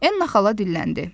Enna xala dilləndi.